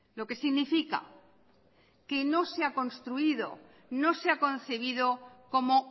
lo que significa que no se ha construido no se ha concebido como